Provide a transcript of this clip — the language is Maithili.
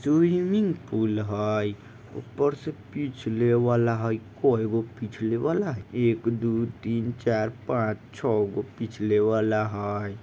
स्विंगमिंग पूल ऊपर से पिछाले वाला हेय।